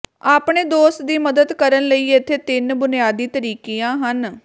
ਆਪਣੇ ਦੋਸਤ ਦੀ ਮਦਦ ਕਰਨ ਲਈ ਇੱਥੇ ਤਿੰਨ ਬੁਨਿਆਦੀ ਤਰੀਕਿਆਂ ਹਨ